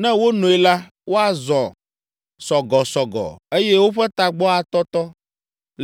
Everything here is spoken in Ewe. Ne wonoe la, woazɔ sɔgɔsɔgɔ, eye woƒe tagbɔ atɔtɔ,